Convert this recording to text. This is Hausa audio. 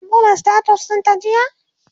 kin buɗe status ɗin ta jiya?